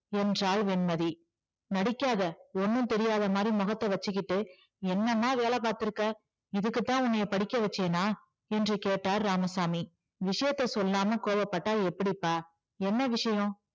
என்றாள் வெண்மதி. நடிக்காதே ஒண்ணும் தெரியாத மாதிரி முகத்த வச்சுக்கிட்டு என்னமா வேலை பாத்திருக்க இதுக்குதான் உன்ன படிக்க வச்சேனா என்று கேட்டார் இராமசாமி. விசயத்தை சொல்லாம கோபப்பட்டா எப்படிப்பா என்ன விஷயம்